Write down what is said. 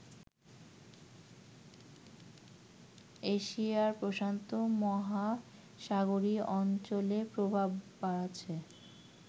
এশিয়াপ্রশান্ত মহাসাগরীয় অঞ্চলে প্রভাব বাড়াচ্ছে